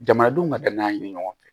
Jamanadenw ka danaya ɲini ɲɔgɔn fɛ